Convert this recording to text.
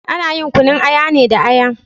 Ana yin kunun aya ne da Aya